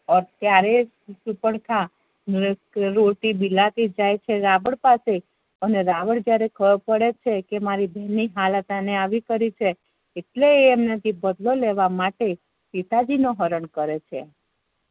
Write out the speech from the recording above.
ત્યારે સુર્પન્ખા રોતી બીલાતી જાય છે રાવણ પાસે અને રાવણ ત્યારે ખબર પડે છે કે મારી બેન ની હાલત આને આવી કરી છે એટલે એ એમના થી બદલો લેવા માટે સીતાજી નું હરણ કરે છે